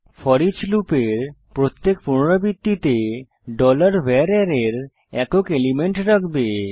foreach লুপের প্রত্যেক পুনরাবৃত্তিতে ডলার ভার অ্যারের একক এলিমেন্ট রাখবে